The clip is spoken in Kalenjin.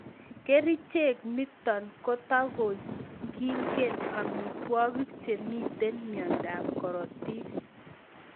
Kerichot ndoniton kotakyingen amitwokik chemiten myondob korotik